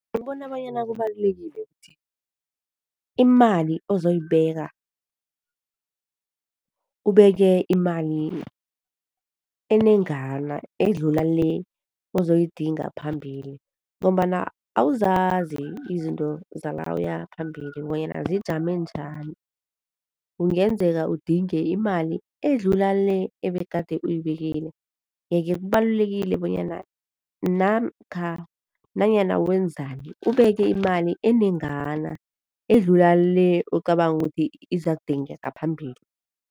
Ngibona bonyana kubalulekile ukuthi imali ozoyibeka, ubeke imali enengana, edlula le uzoyidinga ngaphambili ngombana awuzazi izinto zala uyaphambili bonyana zijame njani? Kungenzeka udinge imali edlula le ebegade uyibekile, yeke kubalulekile bonyana namkha nanyana wenzani ubeke imali enengana, edlula le ocabanga ukuthi izakudingeka ngaphambili.